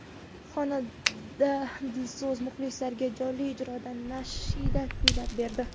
Xonanda Dilso‘z muxlislariga jonli ijroda nashida kuylab berdi.